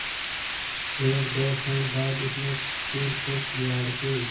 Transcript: एकदो क्षण बाद उसने सिर को किवाड़ से